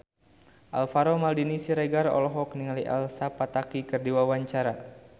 Alvaro Maldini Siregar olohok ningali Elsa Pataky keur diwawancara